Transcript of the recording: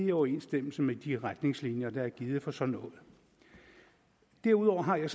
i overensstemmelse med de retningslinjer der er givet for sådan noget derudover har jeg